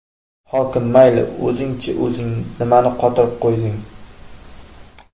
Hokim mayli, o‘zingchi o‘zing, nimani qotirib qo‘yding?